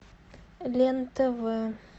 лен тв